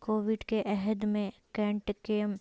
Covid کے عہد میں کینٹ کیم